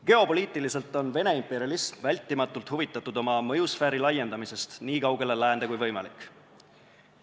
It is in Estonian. Geopoliitiliselt on Vene imperialism vältimatult huvitatud oma mõjusfääri laiendamisest nii kaugele läände kui võimalik.